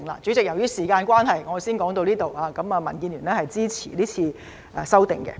主席，由於時間關係，我先說到此，民建聯支持是次修訂。